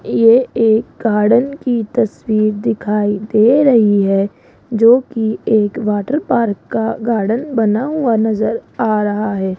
ये एक गार्डन की तस्वीर दिखाई दे रही है जोकि एक वाटर पार्क का गार्डन बना हुआ नजर आ रहा है।